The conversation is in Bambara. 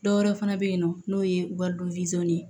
Dɔwɛrɛ fana bɛ yen nɔ n'o ye waridon ye